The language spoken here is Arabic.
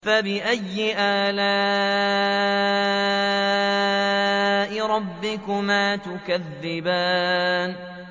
فَبِأَيِّ آلَاءِ رَبِّكُمَا تُكَذِّبَانِ